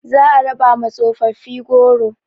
Za a raba ma tsofofi goro